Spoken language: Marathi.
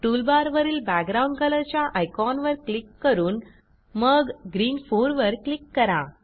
टूलबारवरील बॅकग्राउंड कलर च्या आयकॉनवर क्लिक करून मग ग्रीन 4 वर क्लिक करा